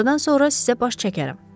Günortadan sonra sizə baş çəkərəm.